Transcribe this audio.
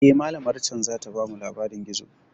Eh, malamar can zata bamu labarin gizo.